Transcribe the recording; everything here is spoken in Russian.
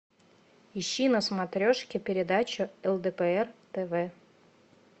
ищи на смотрешке передачу лдпр тв